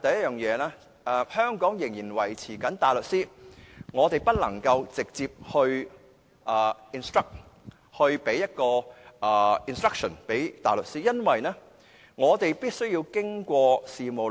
首先，香港仍然維持大律師制度，市民不能直接聘請大律師，而必須通過事務律師。